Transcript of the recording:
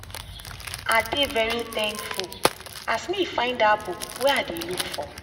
i dey very thankful as me find that book wey i dey look for.